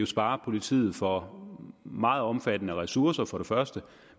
sparer politiet for brug meget omfattende ressourcer